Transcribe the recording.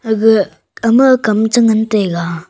aga ama Kam chu ngan taiga.